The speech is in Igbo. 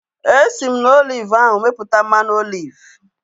Esi m na oliv ahu mepụta mmanụ oliv